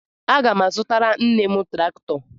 Aga m azụtara nne m traktọ.